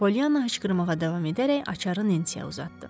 Polyanna hıçqırmağa davam edərək açarı Nensiyə uzatdı.